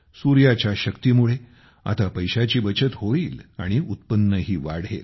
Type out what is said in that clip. सूर्याच्या शक्तीमुळे आता पैशाची बचत होईल आणि उत्पन्नही वाढेल